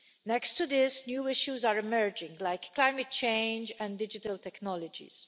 Next to this, new issues are emerging like climate change and digital technologies.